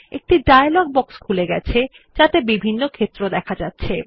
একটি dialogue box খুলে গেছে যাতে বিভিন্ন ক্ষেত্র আছে